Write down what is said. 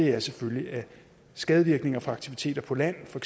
er selvfølgelig at skadevirkninger fra aktiviteter på land for